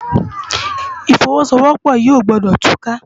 Ifòwòsówòpò yi ógbòdò túká